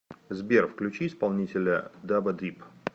сбер включи исполнителя дапа дип